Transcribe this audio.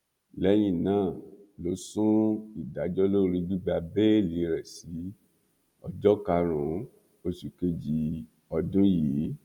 lẹyìn náà ló sún ìdájọ lórí gbígba bẹẹlí rẹ sí ọjọ karùnún oṣù kejì ọdún yìí